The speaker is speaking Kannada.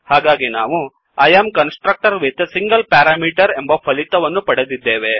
ಹಾಗಾಗಿ ನಾವು I am constructor with a single parameter ಎಂಬ ಫಲಿತವನ್ನು ಪಡೆದಿದ್ದೇವೆ